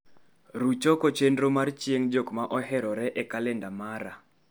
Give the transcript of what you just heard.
Ruch oko chenro mar chieng' jok ma oherore e kalenda mara